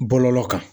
Bɔlɔlɔ kan